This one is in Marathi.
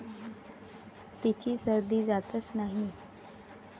तिची सर्दी जातच नाही.